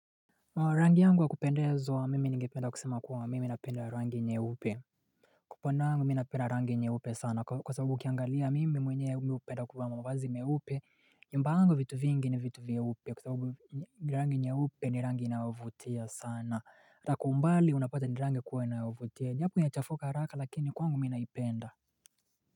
Rangi yangu wakupendezwa mimi ningependa kusema kuwa mimi ninapenda rangi nyeupe upande wangu ninapenda rangi nyeupe sana kwa sabubu ukiangalia mimi mwenyewe hupenda kuvaa mavazi mieupe nyumba yangu vitu vingi ni vitu vyeupe kwa sabubu rangi nyeupe ni rangi inayovutia sana ataka kwa umbali unapata ni rangi kuwa inayovutia iwapo yachafuka haraka lakini kwangu mimi naipenda.